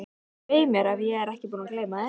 Svei mér ef ég er ekki búinn að gleyma því